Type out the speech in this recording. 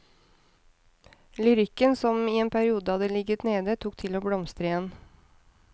Lyrikken, som i en periode hadde ligget nede, tok til å blomstre igjen.